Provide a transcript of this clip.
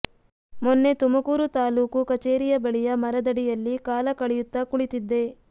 ಮೊನ್ನೆ ತುಮಕೂರು ತಾಲೂಕು ಕಚೇರಿಯ ಬಳಿಯ ಮರದಡಿಯಲ್ಲಿ ಕಾಲ ಕಳೆಯುತ್ತಾ ಕುಳಿತಿದ್ದೆ